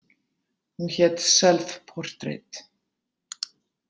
Hún hét „Self Portrait“.